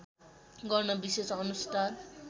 गर्न विशेष अनुष्ठान